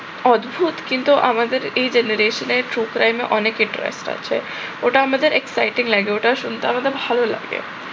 অদ্ভুত কিন্তু আমাদের এই generation এ true crime এ অনেক attracted আছে। ওটা আমাদের exciting লাগে, ওটা শুনতে আমাদের ভাল লাগবে।